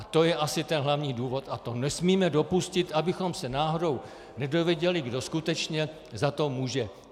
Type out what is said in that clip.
A to je asi ten hlavní důvod a to nesmíme dopustit, abychom se náhodou nedověděli, kdo skutečně za to může.